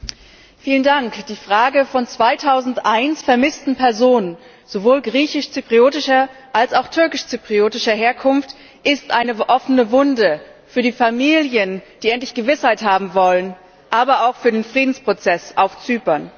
Herr Präsident! Die Frage von 2001 vermissten Personen sowohl griechisch zypriotischer als auch türkisch zypriotischer Herkunft ist eine offene Wunde für die Familien, die endlich Gewissheit haben wollen, aber auch für den Friedensprozess auf Zypern.